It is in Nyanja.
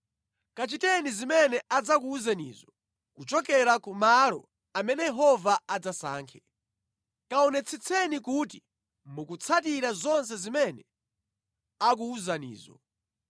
Kachiteni zimene adzakuwuzenizo kuchokera ku malo amene Yehova adzasankhe. Kaonetsetseni kuti mukutsatira zonse zimene akuwuzanizo.